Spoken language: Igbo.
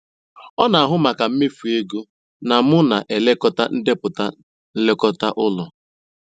Ọ na-ahụ maka mmefu ego na m na-elekọta ndepụta nlekọta ụlọ.